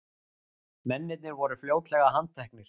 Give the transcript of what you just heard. Mennirnir voru fljótlega handteknir